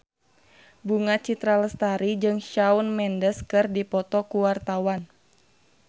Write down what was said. Bunga Citra Lestari jeung Shawn Mendes keur dipoto ku wartawan